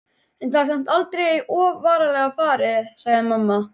en það er samt aldrei of varlega farið, sagði mamma.